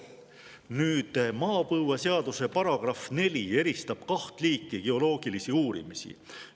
Nüüd, maapõueseaduse § 4 eristab kaht liiki geoloogilisi uurimisi.